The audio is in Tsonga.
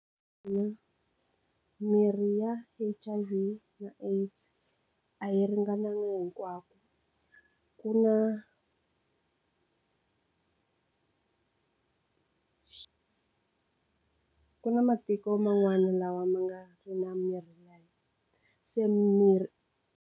Ina, mirhi ya H_I_V na AIDS a yi ringananga hinkwako ku na ku ku na matiko man'wana lawa ma nga ri na mirhi ya se mirhi.